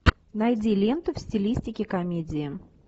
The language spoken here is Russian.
найди ленту в стилистике комедии